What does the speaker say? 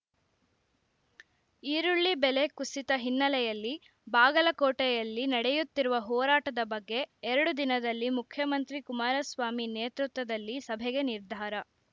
ಈರುಳ್ಳಿ ಬೆಲೆ ಕುಸಿತ ಹಿನ್ನೆಲೆಯಲ್ಲಿ ಬಾಗಲಕೋಟೆಯಲ್ಲಿ ನಡೆಯುತ್ತಿರುವ ಹೋರಾಟದ ಬಗ್ಗೆ ಎರಡು ದಿನದಲ್ಲಿ ಮುಖ್ಯಮಂತ್ರಿ ಕುಮಾರಸ್ವಾಮಿ ನೇತೃತ್ವದಲ್ಲಿ ಸಭೆಗೆ ನಿರ್ಧಾರ